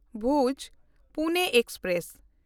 ᱵᱷᱩᱡᱽ–ᱯᱩᱱᱮ express